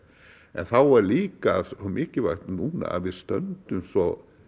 en þá er líka svo mikilvægt núna að við stöndum svo